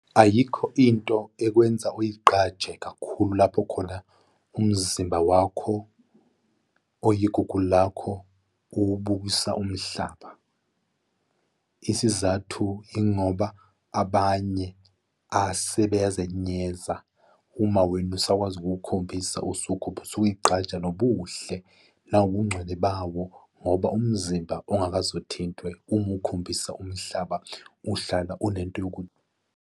Ayikho into ekwenza oy'gqaje kakhulu lapho khona umzimba wakho oyigugu lakho uwubukisa umhlaba. Isizathu yingoba abanye asebeyazenyeza. Uma wena usakwazi usuwukhombisa usuke ube usuy'gqaja, nobuhle nabungcwele bawo, ngoba umzimba ongakaze. Uthintwe uma uwukhombisa umhlaba uhlala unento .